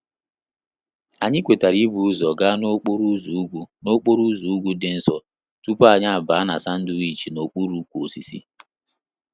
Anyị kwetara ibu ụzọ gaa n'okporo ụzọ ugwu n'okporo ụzọ ugwu dị nso tupu anyị abaa na sandwich n'okpuru ukwu osisi